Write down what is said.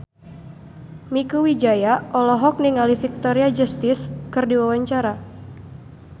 Mieke Wijaya olohok ningali Victoria Justice keur diwawancara